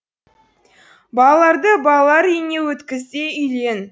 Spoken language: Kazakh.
балаларды балалар үйіне өткіз де үйлен